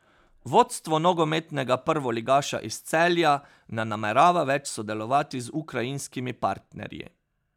Vodstvo nogometnega prvoligaša iz Celja ne namerava več sodelovati z ukrajinskimi partnerji.